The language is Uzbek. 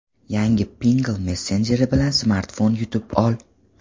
Yangi Pinngle messenjeri bilan smartfon yutib ol!.